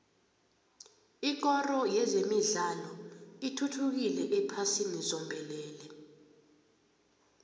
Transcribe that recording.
ikoro yezemidlalo ithuthukile ephasini zombelele